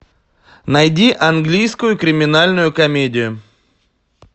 найди английскую криминальную комедию